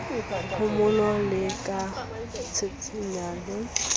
phomolo le ka tjhentjhana le